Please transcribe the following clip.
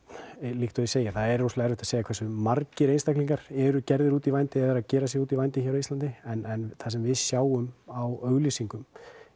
líkt og ég segi er erfitt að segja hversu margir eru gerðir út í vændi eða eru að gera sig út í vændi á Íslandi en það sem við sjáum á auglýsingum